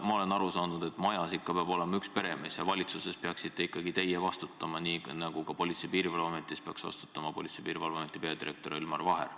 Ma olen aru saanud, et majas peab ikka olema üks peremees ja valitsuses peaksite ikkagi teie vastutama, nii nagu Politsei- ja Piirivalveametis peaks vastutama Politsei- ja Piirivalveameti peadirektor Elmar Vaher.